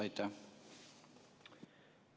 Aitäh!